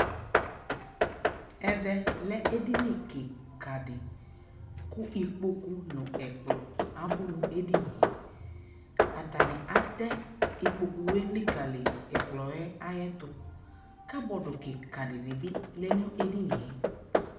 ɛvɛ lɛ ɛdini kikaa di kʋ ikpɔkʋ nʋ ɛkplɔ abʋ nʋ ɛdiniɛ, atani atɛ ikpɔkʋ ɛlikaliyi ɛkplɔɛ ayɛtʋ, cupboard kikaa dibi lɛnʋ ɛdiniɛ